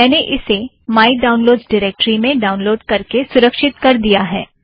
मैंने इसे my downloads directory में डाउनलोड़ करके सुरक्षित कर दिया है